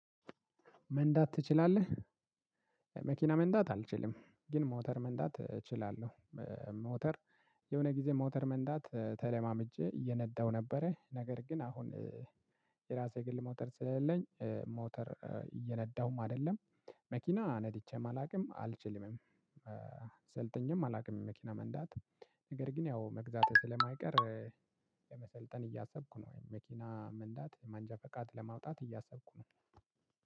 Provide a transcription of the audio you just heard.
መንዳት ትችላለህ? መኪና መንዳት አልችልም ግን ሞተር መንዳት እችላለሁ። ሞተር የሆነ ጊዜ ሞተር መንዳት ተለማምጄ እየነዳው ነበረ ነገር ግን አሁን ትራፊክ የግል ሞተር ስለሌለኝ ሞተር እየነዳሁም አይደለም መኪና ነድቼም አላውቅም አልችልምም። ሰልጥኜም አላውቅም መኪና መንዳት ነገር ግን ያው መግዛቴ ስለማይቀር ለመሰልጠን እያሰብኩ ነው። መኪና መንዳት መንጃፍቃድ ለማውጣት እያሰብኩ ነው።